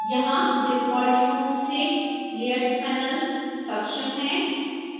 यहां डिफॉल्ट रूप से layers panel सक्षम है